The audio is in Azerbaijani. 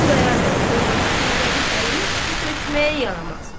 Xudayar bəyin övrəti Zeynəbin əlinə su tökməyə yaramaz.